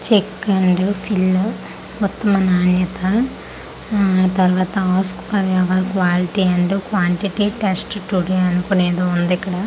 Check and fill మొత్తమనాయథా ఆ తర్వాత ask for ever quality and quantity test today అనుకోని ఏదో వుందిక్కడ .]